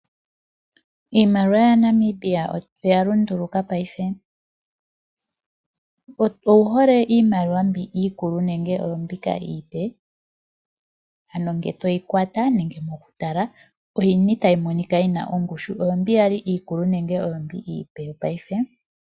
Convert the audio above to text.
Iimaliwa yaNamibia oya lunduluka paife. Owu hole iimaliwa mbi iikulu nenge oombika iipe? Ano ngele to yi kwata nenge mokutala oyi ni tayi monika yi na ongushu? Oombi ya li iikulu nenge oombi iipe yopaife?